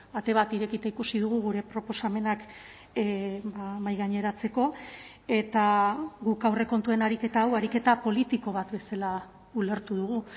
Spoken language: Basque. ate bat irekita ikusi dugu gure proposamenak mahaigaineratzeko eta guk aurrekontuen ariketa hau ariketa politiko bat bezala ulertu dugu